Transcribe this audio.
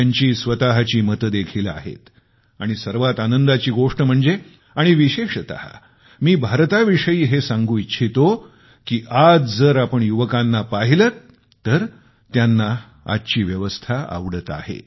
त्यांची स्वतःची मत देखील आहेत आणि सर्वात आनंदाची गोष्ट म्हणजे आणि विशेषतः मी भारताविषयी हे सांगू इच्छितो की आज जर आपण युवकांना पाहिलंत तर त्यांना आजची व्यवस्था आवडत आहे